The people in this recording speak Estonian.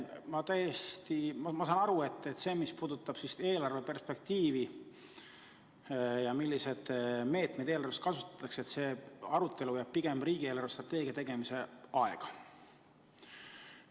Ma tõesti saan aru, et see arutelu, mis puudutab eelarve perspektiivi ja milliseid meetmeid eelarves kasutatakse, jääb pigem riigi eelarvestrateegia tegemise aega.